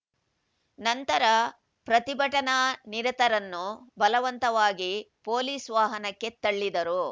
ನಂತರ ಪ್ರತಿಭಟನಾನಿರತರನ್ನು ಬಲವಂತವಾಗಿ ಪೊಲೀಸ್‌ ವಾಹನಕ್ಕೆ ತಳ್ಳಿದರು